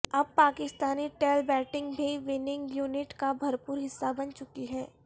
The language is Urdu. اب پاکستانی ٹیل بیٹنگ بھی وننگ یونٹ کا بھرپور حصہ بن چکی ہے